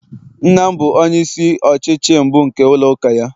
nna m bụ onye isi ọchịchị mbụ nke ụlọ uka ya